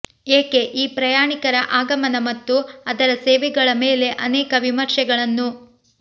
ಏಕೆ ಈ ಪ್ರಯಾಣಿಕರ ಆಗಮನ ಮತ್ತು ಅದರ ಸೇವೆಗಳ ಮೇಲೆ ಅನೇಕ ವಿಮರ್ಶೆಗಳನ್ನು